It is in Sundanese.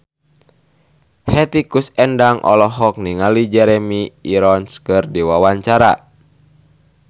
Hetty Koes Endang olohok ningali Jeremy Irons keur diwawancara